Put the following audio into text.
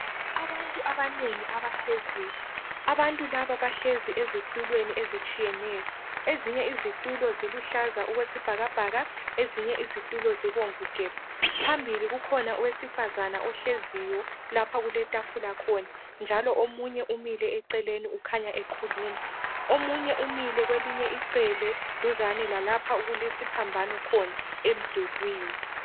Abantu abanengi abahleziyo. Abantu laba bahlezi ezitulweni ezitshiyeneyo. Ezinye izitulo ziluhlaza okwesibhakabhaka, ezinye izitulo zibomvu gebhu. Phambili kukhona owesifazana ohleziyo lapha okuletafula khona njalo omunye umile eceleni ukhanya ekhuluma. Omunye umile kwelinye icele duzane lalapha okulesiphambano khona emdulwini.